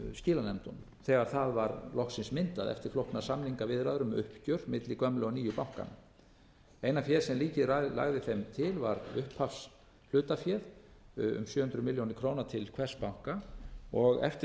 skilanefndunum þegar það var loksins myndað eftir flóknar samningaviðræður um uppgjör milli gömlu og nýju bankanna eina féð sem ríkið lagði þeim til var upphafshlutaféð um sjö hundruð milljóna króna til hvers banka og eftir